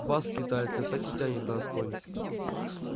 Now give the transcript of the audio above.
вас скитальцев так и тянет на асконь